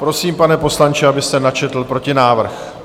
Prosím, pane poslanče, abyste načetl protinávrh.